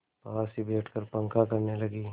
पास ही बैठकर पंखा करने लगी